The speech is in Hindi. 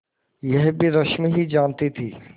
यह भी रश्मि ही जानती थी